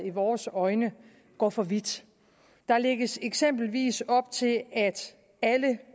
i vores øjne går for vidt der lægges eksempelvis op til at